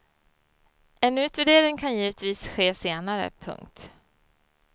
En utvärdering kan givetvis ske senare. punkt